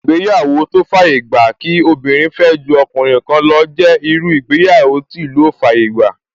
Ìgbéyàwó tó fàyè gba kí obìnrin fẹ́ ju ọkùnrin kan lọ jẹ́ irú ìgbéyàwó tí ìlú ò fàyè gbà